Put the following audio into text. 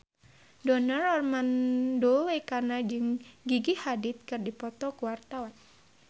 Donar Armando Ekana jeung Gigi Hadid keur dipoto ku wartawan